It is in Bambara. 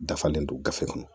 Dafalen don gafe kɔnɔ